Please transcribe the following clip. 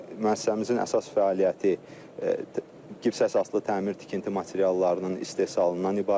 Müəssisəmizin əsas fəaliyyəti gips əsaslı təmir tikinti materiallarının istehsalından ibarətdir.